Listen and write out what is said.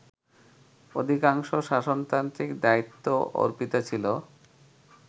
অধিকাংশ শাসনতান্ত্রিক দায়িত্ব অর্পিত ছিল